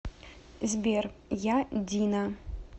сбер я дина